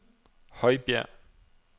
Højbjerg